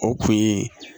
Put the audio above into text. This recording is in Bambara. O kun ye